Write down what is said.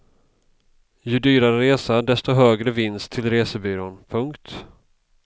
Ju dyrare resa desto högre vinst till resebyrån. punkt